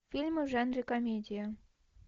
фильмы в жанре комедия